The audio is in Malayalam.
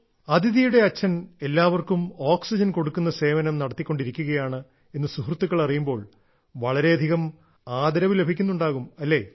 അദിതിയുടെ അച്ഛൻ എല്ലാവർക്കും ഓക്സിജൻ കൊടുക്കുന്ന സേവനം നടത്തിക്കൊണ്ടിരിക്കുകയാണ് എന്ന് സുഹൃത്തുക്കൾ അറിയുമ്പോൾ വളരെയധികം ആദരവ് ലഭിക്കുന്നുണ്ടാകും അല്ലേ